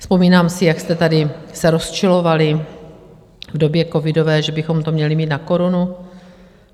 Vzpomínám si, jak jste se tady rozčilovali v době covidové, že bychom to měli mít na korunu.